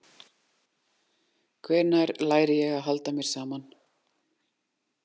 Hvenær læri ég að halda mér saman?